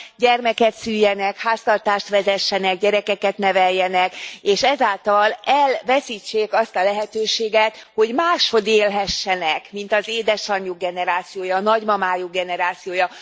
gyermeket szüljenek, háztartást vezessenek, gyerekeket neveljenek, és ezáltal elveszítsék azt a lehetőséget, hogy máshogy élhessenek, mint az édesanyjuk generációja, a nagymamájuk generációja.